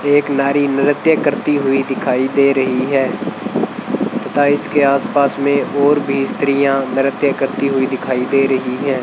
एक नारी नृत्य करती हुई दिखाई दे रही है तथा इसके आसपास में और भी स्त्रियां नृत्य करती हुई दिखाई दे रही हैं।